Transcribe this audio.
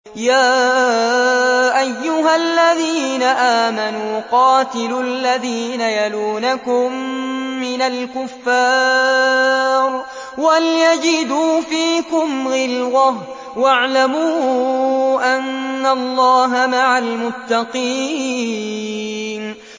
يَا أَيُّهَا الَّذِينَ آمَنُوا قَاتِلُوا الَّذِينَ يَلُونَكُم مِّنَ الْكُفَّارِ وَلْيَجِدُوا فِيكُمْ غِلْظَةً ۚ وَاعْلَمُوا أَنَّ اللَّهَ مَعَ الْمُتَّقِينَ